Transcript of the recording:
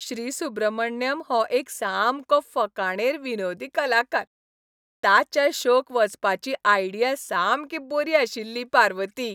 श्री. सुब्रमण्यम हो एक सामको फकाणेर विनोदी कलाकार. ताच्या शोक वचपाची आयडिया सामकी बरीं आशिल्लीं, पार्वती.